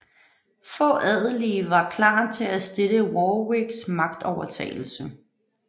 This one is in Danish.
Få adelige var klar til at støtte Warwicks magtovertagelse